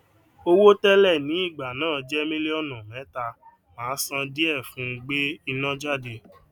owó télè ní ìgbà náà je mílíọnù méta màa san díè fún gbé iná jáde